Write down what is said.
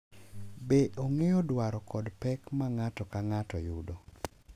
Be ong’eyo dwaro kod pek ma ng’ato ka ng’ato yudo,